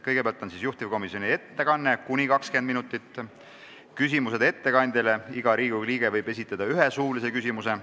Kõigepealt on juhtivkomisjoni ettekanne kuni 20 minutit, seejärel küsimused ettekandjale, iga Riigikogu liige võib esitada ühe suulise küsimuse.